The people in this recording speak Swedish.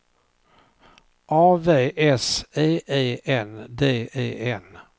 A V S E E N D E N